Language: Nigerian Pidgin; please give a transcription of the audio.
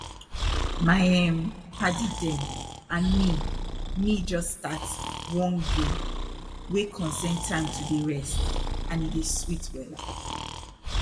my erm padi dem and me me jus start one game wey concern time to dey rest and e dey sweet wella